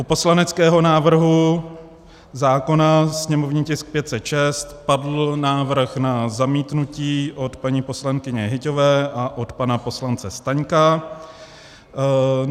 U poslaneckého návrhu zákona sněmovní tisk 506 padl návrh na zamítnutí od paní poslankyně Hyťhové a od pana poslance Staňka.